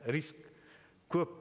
риск көп